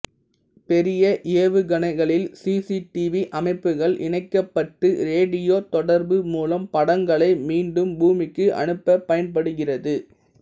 பெரிய ஏவுகணைகளில் C C TV அமைப்புகள் இணைக்கப்பட்டு ரேடியோ தொடர்பு மூலம் படங்களை மீண்டும் பூமிக்கு அனுப்பப் பயன்படுகிறது